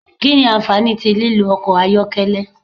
Kí nì ànfàní tí lílò ọkọ ayọkẹlẹ?